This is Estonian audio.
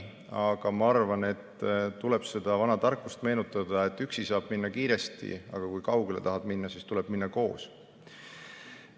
Aga ma arvan, et tuleb meenutada vana tarkust, et üksi saab minna kiiresti, aga kui kaugele tahad minna, siis tuleb minna koos.